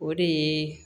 O de ye